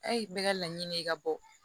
A ye bɛɛ ka laɲini ye i ka bɔ